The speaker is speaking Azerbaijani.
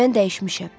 Mən dəyişmişəm.